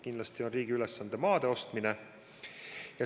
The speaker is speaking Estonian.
Kindlasti on riigi ülesanne maade ostmine.